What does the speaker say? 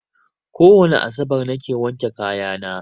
Kowane asabar na ke wanke kaya na